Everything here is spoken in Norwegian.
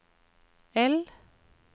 L